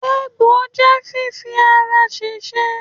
Egbò je fífi ara ṣèṣe.